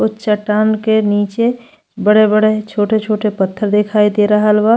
उ चट्टान के नीचे बड़े-बड़े छोटे-छोटे पत्थर दिखाई दे रहल बा।